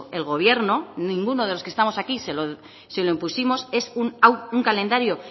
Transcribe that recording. el gobierno ninguno de los que estamos aquí se lo impusimos es un calendario